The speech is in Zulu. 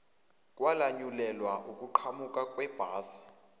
kwalanyulelwa ukuqhamuka kwebhasi